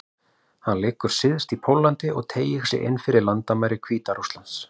Hann liggur syðst í Póllandi og teygir sig inn fyrir landamæri Hvíta-Rússlands.